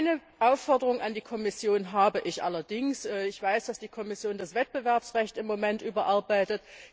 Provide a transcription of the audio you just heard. Eine Aufforderung an die Kommission habe ich allerdings Ich weiß, dass die Kommission im Moment das Wettbewerbsrecht überarbeitet.